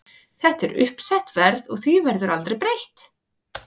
Þetta er uppsett verð og því verður aldrei breytt.